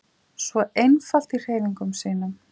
Svo einfalt í hreyfingum sínum.